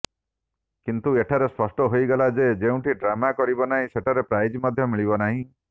କିନ୍ତୁ ଏଠାରେ ସ୍ପଷ୍ଟ ହୋଇଗଲା ଯେ ଯେଉଁଠି ଡ୍ରାମା କରିବ ନାହିଁ ସେଠାରେ ପ୍ରାଇଜ୍ ମଧ୍ୟ ମିଳିବ ନାହିଁ